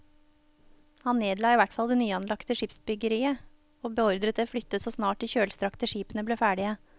Han nedla i hvert fall det nyanlagte skipsbyggeriet og beordret det flyttet så snart de kjølstrakte skipene ble ferdige.